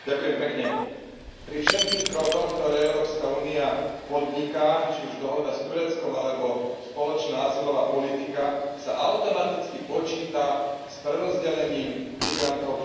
Pri všetkých krokoch, ktoré Európska únia podniká, či už dohoda s Tureckom, alebo spoločná azylová politika, sa automaticky počíta s prerozdelením migrantov po celej Európe.